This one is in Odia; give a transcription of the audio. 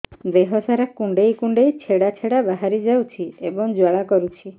ଦେହ ସାରା କୁଣ୍ଡେଇ କୁଣ୍ଡେଇ ଛେଡ଼ା ଛେଡ଼ା ବାହାରି ଯାଉଛି ଏବଂ ଜ୍ୱାଳା କରୁଛି